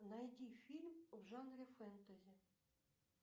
найди фильм в жанре фэнтези